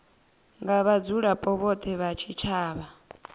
nga vhadzulapo vhothe vha tshitshavha